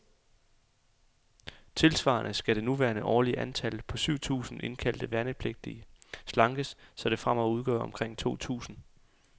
Tilsvarende skal det nuværende årlige antal, på syv tusinde indkaldte værnepligtige, slankes, så det fremover udgør omkring to tusinde.